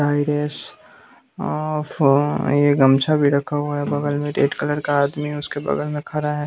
ये गमछा भी रखा हुआ है बगल में रेड कलर का आदमी उसके बगल में खा रहा है।